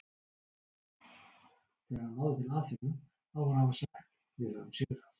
Þegar hann náði til Aþenu á hann að hafa sagt Við höfum sigrað!